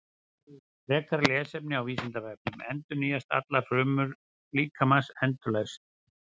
Frekara lesefni á Vísindavefnum: Endurnýjast allar frumur líkamans endalaust?